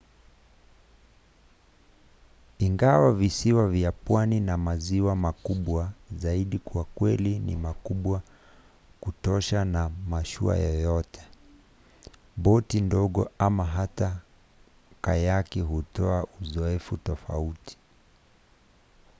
ingawa visiwa vya pwani na maziwa makubwa zaidi kwa kweli ni makubwa kutosha kwa mashua yoyote boti ndogo ama hata kayaki hutoa uzoefu tofauti